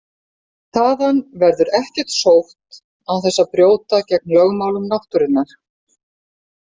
Þaðan verður ekkert sótt án þess að brjóta gegn lögmálum náttúrunnar.